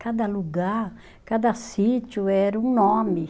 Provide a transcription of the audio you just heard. Cada lugar, cada sítio era um nome.